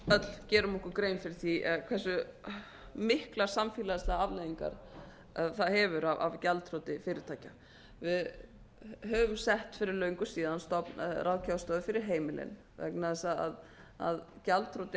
öll gerum okkur grein fyrir því eða hversu miklar samfélagslegar afleiðingar það hefur af gjaldþroti fyrirtækja við höfum sett fyrir löngu síðan á stofn ráðgjafarstofu fyrir heimilin vegna þess að gjaldþrot